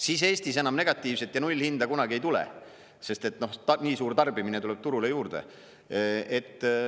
Siis Eestis enam negatiivset ja nullhinda kunagi ei tule, sest nii suur tarbimine tuleb turule juurde.